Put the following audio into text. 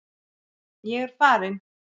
Ég er farin.